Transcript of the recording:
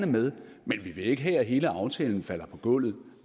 med men vi vil ikke have at hele aftalen falder på gulvet